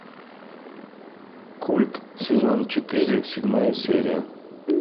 культ сезон четыре седьмая серия